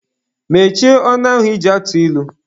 Mechie ọnụ ahụ ị ji atụ ilu!